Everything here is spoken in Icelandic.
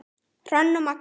Hrönn og Magnús.